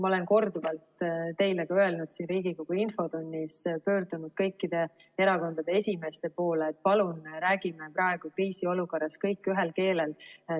Ma olen korduvalt teile ka öelnud, siin Riigikogu infotunnis pöördunud kõikide erakondade esimeeste poole, et palun räägime praegu kriisiolukorras kõik ühel keelel.